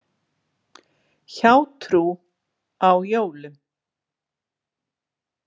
„Hjátrú á jólum“.